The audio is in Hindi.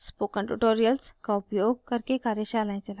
spoken tutorials का उपयोग करके कार्यशालाएं चलाती है